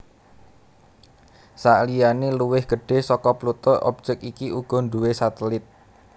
Saliyané luwih gedhé saka Pluto objèk iki uga nduwé satelit